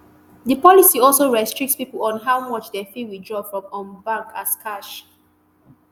di policy also restrict pipo on how much dem fit withdraw from um bank as cash